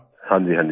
हाँ जी हाँ जी सर